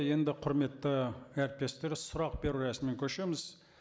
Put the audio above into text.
енді құрметті әріптестер сұрақ беру рәсіміне көшеміз